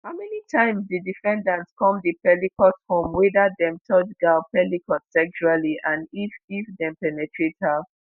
how many times di defendants come di pelicot home weda dem touch gisèle pelicot sexually and if if dem penetrate her.